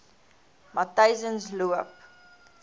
matyzensloop